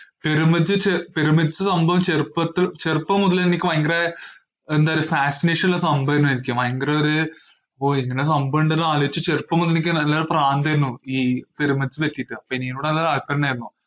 പെരുമച്~ ചെ~ പിരമിഡ്‌സ് സംഭവം ചെറുപ്പത്ത്~ ചെറുപ്പം മുതലേ എനിക്ക് ഭയങ്കര എന്താ പറയ്യാ fascination ഇള്ള സംഭവന്നെ എനിക്ക്, ഭയങ്കര ഒര് ഓ ഇങ്ങനെ ഒര് സംഭവിണ്ടല്ലോ ആലോയിച്ച് ചെറുപ്പം മുതലേ എനിക്ക് നല്ലൊരു പ്രാന്തായിരുന്നു ഈ പിരമിഡ്‌സ്നെ പറ്റീട്ട് അപ്പോ ഇനിയുള്ളത് .